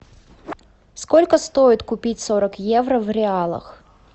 сколько стоит купить сорок евро в реалах